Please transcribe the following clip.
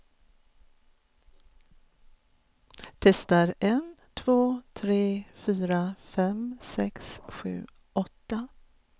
Testar en två tre fyra fem sex sju åtta.